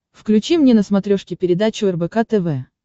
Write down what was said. включи мне на смотрешке передачу рбк тв